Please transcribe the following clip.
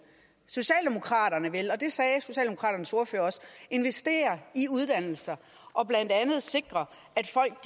socialdemokraterne vil og det sagde socialdemokraternes ordfører også investere i uddannelser og blandt andet sikre at folk